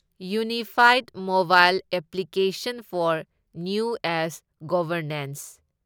ꯌꯨꯅꯤꯐꯥꯢꯗ mobile application for new age governance